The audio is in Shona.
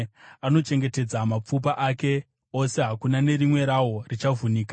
anochengetedza mapfupa ake ose, hakuna nerimwe rawo richavhunika.